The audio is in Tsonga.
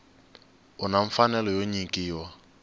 u na mfanelo yo nyikiwa